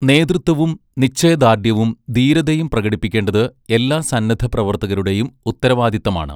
നേതൃത്വവും നിശ്ചയദാർഢ്യവും ധീരതയും പ്രകടിപ്പിക്കേണ്ടത് എല്ലാ സന്നദ്ധപ്രവർത്തകരുടെയും ഉത്തരവാദിത്തമാണ്.